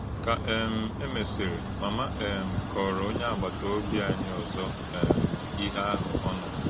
Kà um e mésìrì, màmá m um kọ̀ọrọ̀ ònyé àgbàtà òbí ányí ọ̀zọ̀ um íhè áhụ̀ ọ̣ nùrù.